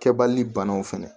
Kɛbali banaw fɛnɛ